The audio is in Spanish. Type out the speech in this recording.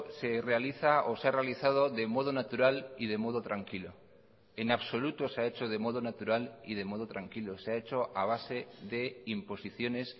se realiza o se ha realizado de modo natural y de modo tranquilo en absoluto se ha hecho de modo natural y de modo tranquilo se ha hecho a base de imposiciones